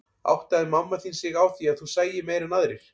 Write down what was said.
Áttaði mamma þín sig á því að þú sæir meira en aðrir?